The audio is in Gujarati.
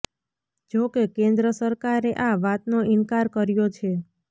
જો કે કેન્દ્ર સરકારે આ વાતનો ઇનકાર કર્યો છે